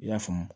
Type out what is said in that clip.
I y'a faamu